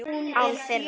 Án þeirra.